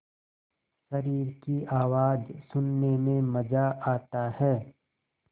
शरीर की आवाज़ सुनने में मज़ा आता है